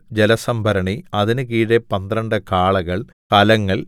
ജലസംഭരണി അതിന് കീഴെ പന്ത്രണ്ട് കാളകൾ കലങ്ങൾ